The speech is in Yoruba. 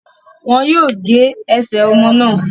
Wọn yóò gé ẹsẹ ọmọ náà